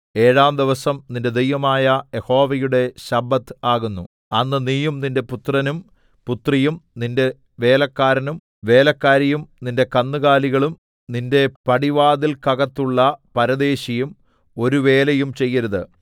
ഏഴാം ദിവസം നിന്റെ ദൈവമായ യഹോവയുടെ ശബ്ബത്ത് ആകുന്നു അന്ന് നീയും നിന്റെ പുത്രനും പുത്രിയും നിന്റെ വേലക്കാരനും വേലക്കാരിയും നിന്റെ കന്നുകാലികളും നിന്റെ പടിവാതിൽക്കകത്തുള്ള പരദേശിയും ഒരു വേലയും ചെയ്യരുത്